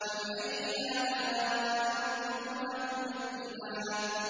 فَبِأَيِّ آلَاءِ رَبِّكُمَا تُكَذِّبَانِ